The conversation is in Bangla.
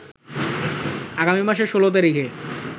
আগামী মাসের ১৬ তারিখে